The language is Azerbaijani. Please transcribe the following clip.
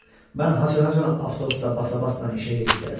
Mən haraacan avtobusda basa-basla işə gedib gələcəm?